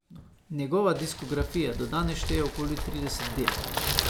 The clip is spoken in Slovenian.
Njegova diskografija do danes šteje okoli trideset del.